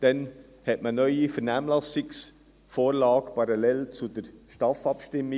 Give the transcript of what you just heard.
Dann hat man eine neue Vernehmlassungsvorlage präsentiert, parallel zur STAF-Abstimmung.